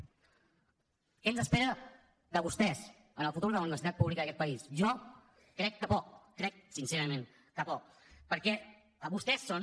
què ens espera de vostès en el futur de la universitat pública d’aquest país jo crec que poc crec sincerament que poc perquè vostès són